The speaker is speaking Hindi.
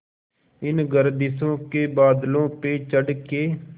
इन गर्दिशों के बादलों पे चढ़ के